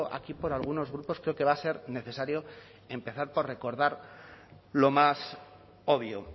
aquí por algunos grupos creo que va a ser necesario empezar por recordar lo más obvio